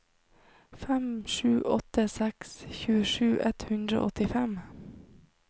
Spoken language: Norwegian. fem sju åtte seks tjuesju ett hundre og åttifem